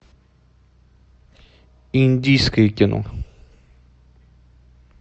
индийское кино